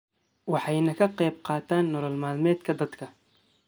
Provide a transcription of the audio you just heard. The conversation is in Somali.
waxayna ka qayb qaataan nolol maalmeedka dadka.